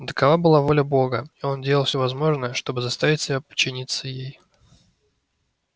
но такова была воля бога и он делал всё возможное чтобы заставить себя подчиниться ей